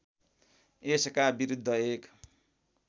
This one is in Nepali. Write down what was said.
यसका विरुद्ध एक